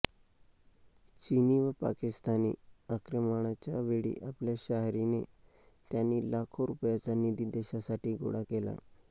चिनी व पाकिस्तानी आक्रमणांच्या वेळी आपल्या शाहिरीने त्यांनी लाखो रूपयांचा निधी देशासाठी गोळा केला